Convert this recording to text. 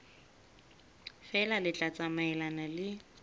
feela le tla tsamaelana le